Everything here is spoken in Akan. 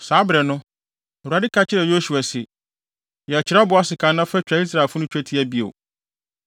Saa bere no, Awurade ka kyerɛɛ Yosua se, “Yɛ kyerɛwbo asekan na fa twa Israelfo no twetia bio.”